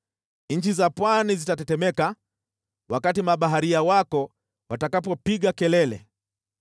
Nchi za pwani zitatetemeka wakati mabaharia wako watakapopiga kelele.